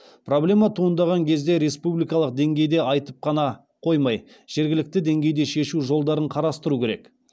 проблема туындаған кезде республикалық деңгейде айтып қана қоймай жергілікті деңгейде шешу жолдарын қарастыру керек